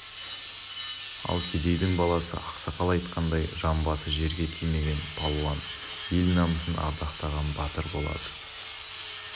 ал кедейдің баласы ақсақал айтқандай жамбасы жерге тимеген палуан ел намысын ардақтаған батыр болады